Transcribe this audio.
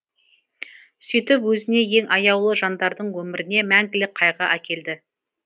сөйтіп өзіне ең аяулы жандардың өміріне мәңгілік қайғы әкелді